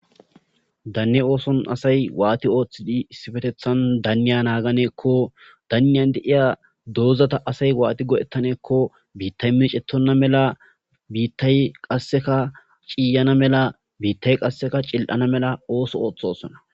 Danne oothoyani asati issippe waati oothiyakonne waati naagiyakonne danniya de7iya doozata asay waati go7etane giikko biittay meecettonna mala ,biitta qasseka ,biitta ciiyana mala,biittay cili7ana mala ooththosona.